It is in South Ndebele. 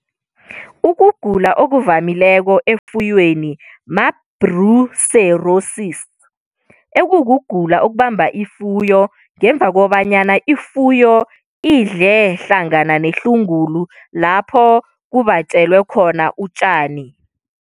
Ukugula okuvamileko efuyweni ma-brucellosis, ekukugula okubamba ifuyo ngemva kobanyana ifuyo idle hlangana nehlungulu, lapho kubatjelwe khona utjani.